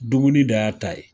Dumuni dan y'a ta ye.